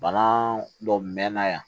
Bana dɔ mɛnna yan